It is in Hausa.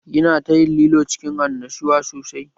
Yana ta yin lilo cikin annashuwa sosai